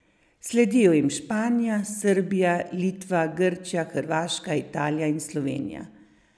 Sledijo jim Španija, Srbija, Litva, Grčija, Hrvaška, Italija in Slovenija.